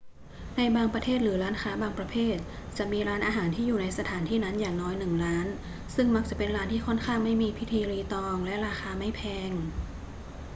ในบางประเทศหรือร้านค้าบางประเภทจะมีร้านอาหารที่อยู่ในสถานที่นั้นอย่างน้อยหนึ่งร้าน ซึ่งมักจะเป็นร้านที่ค่อนข้างไม่มีพิธีรีตองและราคาไม่แพง